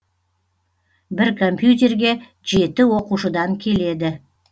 бір компьютерге жеті оқушыдан келеді